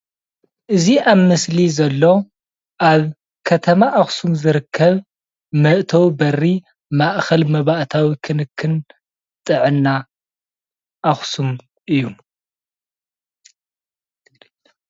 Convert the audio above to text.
እዚ ኣብ ምስሊ ዘሎ ኣብ ከተማ ኣክሱም ዝርከብ መእተዊ በሪ ማእከል መባእታዊ ክንክን ጥዕና ኣክሱም እዩ፡፡